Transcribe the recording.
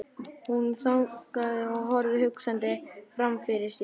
Hún þagnaði og horfði hugsandi framfyrir sig.